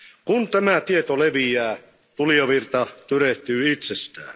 Kun tämä tieto leviää, tulijavirta tyrehtyy itsestään.